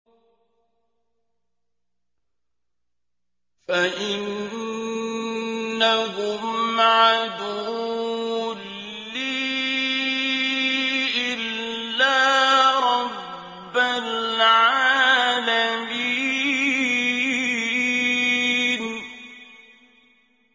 فَإِنَّهُمْ عَدُوٌّ لِّي إِلَّا رَبَّ الْعَالَمِينَ